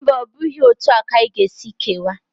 Mba, ọ bụghị etu a ka anyị ga-esi kewaa.